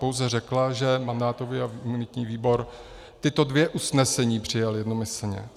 Pouze řekla, že mandátový a imunitní výbor tato dvě usnesení přijal jednomyslně.